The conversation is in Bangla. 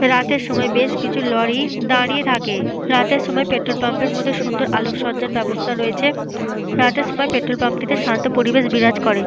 রাতের সময় বেশ কিছু লরি দাঁড়িয়ে থাকে। রাতের সময় পেট্রল পাম্প -এর মধ্যে সুন্দর আলোকসজ্জ্যার ব্যবস্থা রয়েছে। রাতের সময় পেট্রল পাম্প - টিতে শান্ত পরিবেশ বিরাজ করে।